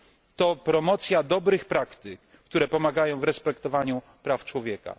To promocja dobrych praktyk, które pomagają w respektowaniu praw człowieka.